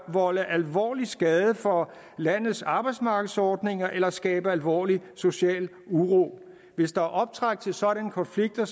forvolde alvorlig skade for landenes arbejdsmarkedsordninger eller skabe alvorlig social uro hvis der er optræk til sådanne konflikter